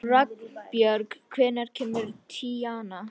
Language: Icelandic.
Ragnbjörg, hvenær kemur tían?